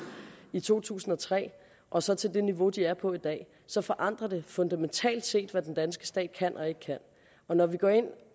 i to tusind og tre og så til det niveau de er på i dag så forandrer det fundamentalt set hvad den danske stat kan og ikke kan og når vi går ind